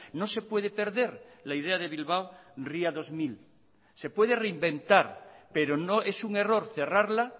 no se puede perder la idea de bilbao ría dos mil se puede reinventar pero no es un error cerrarla